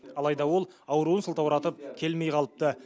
алайда ол ауруын сылтауратып келмей қалыпты